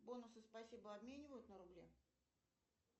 бонусы спасибо обменивают на рубли